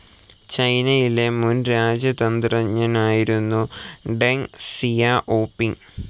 ചൈനയിലെ മുൻ രാജ്യതന്ത്രജ്ഞനായിരുന്നു ഡെങ് സിയാഒപിങ്.